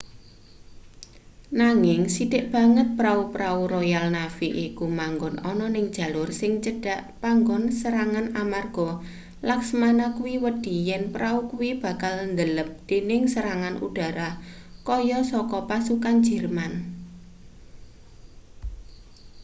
nanging sithik banget pra-prau royal navy iku manggon ana ning jalur sing cedhak panggon serangan amarga laksamana kuwi wedi yen prau kuwi bakal ndelep dening serangan udara kaya saka pasukan jerman